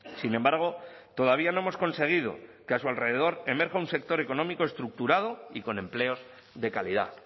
sin embargo todavía no hemos conseguido que a su alrededor emerja un sector económico estructurado y con empleos de calidad